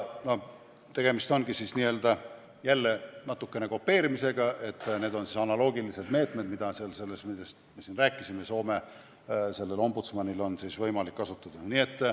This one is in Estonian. Tegemist ongi jälle natukene kopeerimisega, sest need on analoogilised meetmed, mida Soome ombudsmanil, kellest me siin ennist rääkisime, on võimalik kasutada.